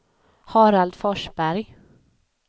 Harald Forsberg